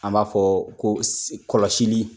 An b'a fɔ ko si kɔlɔsili